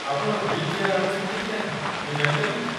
ଆପଣ wheelchair ଆଣୁଛନ୍ତି କି ନାହିଁ, ମୁଁ ଜାଣିପାରିବି କି?